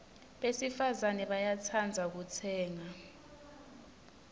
besifazana bayatsandza kutsenga